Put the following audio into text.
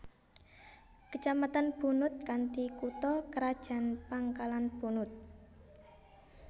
Kecamatan Bunut kanthi kutha krajan Pangkalan Bunut